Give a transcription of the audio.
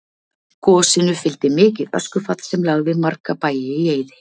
gosinu fylgdi mikið öskufall sem lagði marga bæi í eyði